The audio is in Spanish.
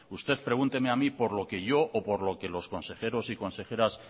usted pregúnteme a mí por lo que yo o por lo que los consejeros y consejeras